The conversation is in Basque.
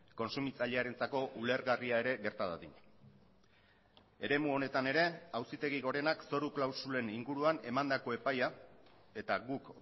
kontsumitzailearentzako ulergarria ere gerta dadin eremu honetan ere auzitegi gorenak zoru klausulen inguruan emandako epaia eta guk